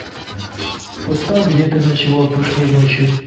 поставь где ты ночевал прошлой ночью